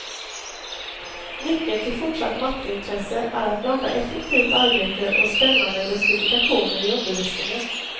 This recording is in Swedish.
Nyckeln till fortsatt matteintresse är att blanda effektivt arbete och spännande lustifikationer i undervisningen.